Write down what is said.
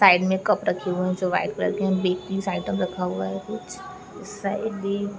side में cup रखी हुए हैं जो वाइट कलर के है बेक पीस आइटम रखा हुआ है कुछ उस साइड भी--